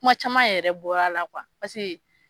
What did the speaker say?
Kuma caman yɛrɛ bɔra la paseke